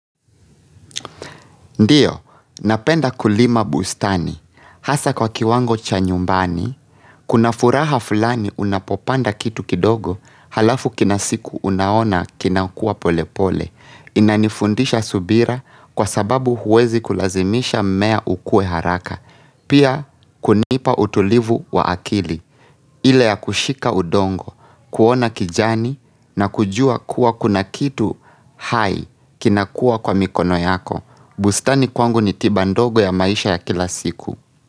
Ndiyo, napenda kulima bustani, hasa kwa kiwango cha nyumbani, kuna furaha fulani unapopanda kitu kidogo, halafu kina siku unaona kinakua pole pole, inanifundisha subira kwa sababu huwezi kulazimisha mmea ukue haraka, pia kunipa utulivu wa akili, ile ya kushika udongo, kuona kijani na kujua kuwa kuna kitu hai kinakua kwa mikono yako. Bustani kwangu ni tiba ndogo ya maisha ya kila siku.